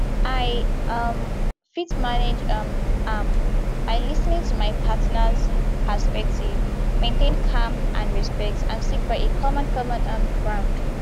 i um fit manage um am by lis ten ing to my partners perspective maintain calm and respect and seek for a common common um ground